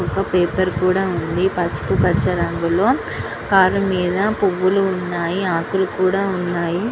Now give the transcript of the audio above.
ఒక పేపర్ కూడా ఉంది పసుపు పచ్చ రంగు లో కని మీద పూవులు ఉన్నాయి ఆకులూ కూడా ఉన్నాయి.